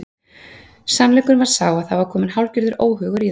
Sannleikurinn var sá að það var kominn hálfgerður óhugur í þá.